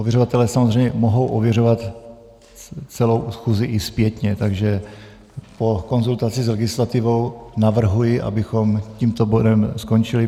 Ověřovatelé samozřejmě mohou ověřovat celou schůzi i zpětně, takže po konzultaci s legislativou navrhuji, abychom tímto bodem skončili.